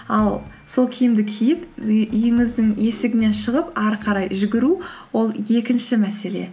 ал сол киімді киіп үйіңіздің есігінен шығып ары қарай жүгіру ол екінші мәселе